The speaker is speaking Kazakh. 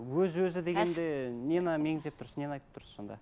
өз өзі дегенде нені меңзеп тұрсыз нені айтып тұрсыз сонда